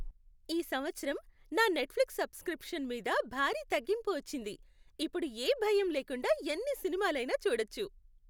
ఈ సంవత్సరం నా నెట్ఫ్లిక్స్ సబ్స్క్రిప్షన్ మీద భారీ తగ్గింపు వచ్చింది. ఇప్పుడు ఏ భయం లేకుండా ఎన్ని సినిమాలైనా చూడొచ్చు.